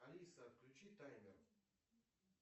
алиса отключи таймер